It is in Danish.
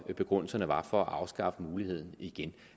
begrundelserne var for at afskaffe muligheden igen